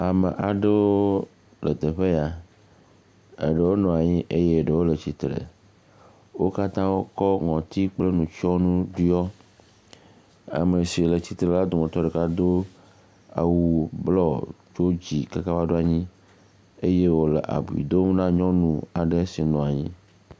Ame aɖo le teƒe ya. Eɖewo nɔ anyi eye eɖewo le trsitre. Wo katã kɔ ŋɔtsi kple nutsɔnu ɖiɔ. Ame si le tsitre la wo dometɔ ɖeka do awu blɔ tso dzi kaka va ɖoa nyi eye wole abui dom na nyɔnu aɖe si nɔ nyi.